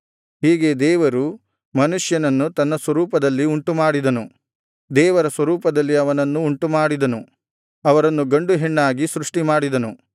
ಹೀಗೆ ದೇವರು ಮನುಷ್ಯನನ್ನು ತನ್ನ ಸ್ವರೂಪದಲ್ಲಿ ಉಂಟುಮಾಡಿದನು ದೇವರ ಸ್ವರೂಪದಲ್ಲಿ ಅವನನ್ನು ಉಂಟುಮಾಡಿದನು ಅವರನ್ನು ಗಂಡುಹೆಣ್ಣಾಗಿ ಸೃಷ್ಟಿ ಮಾಡಿದನು